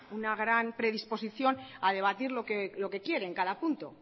una gran predisposición a debatir lo que quiere en cada punto